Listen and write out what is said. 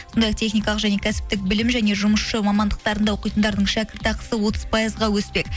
сондай ақ техникалық және кәсіптік білім және жұмысшы мамандықтарында оқитындардың шәкірт ақысы отыз пайызға өспек